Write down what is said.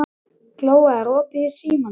Glóa, er opið í Símanum?